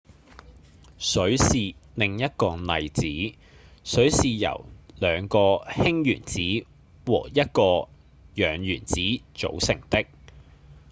水是另一個例子水是由兩個氫原子和一個氧原子組成的